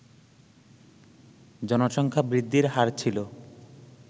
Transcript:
জনসংখ্যা বৃদ্ধির হার ছিল